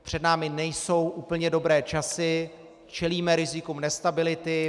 Před námi nejsou úplně dobré časy, čelíme rizikům nestability.